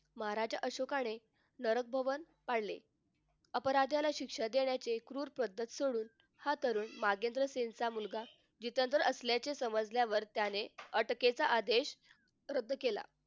महाराज अशोकाने नर भवन पाडले अपराध्याला शिक्षा देण्याचे क्रूर पद्धत सोडून हा तरुण नागेंद्र सिंग चा मुलगा जितेंद्र असल्याचे समजल्यावर त्याने अटकेचा आदेश रद्द केला.